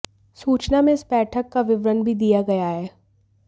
सूचना में इस बैठक का विवरण भी दिया गया है